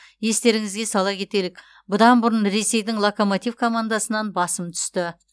естеріңізге сала кетелік бұдан бұрын ресейдің локомотив командасынан басым түсті